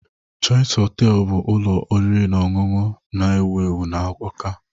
Choice Hotel bụ ụlọ oriri na ọṅụṅụ na-ewu ewu na Awka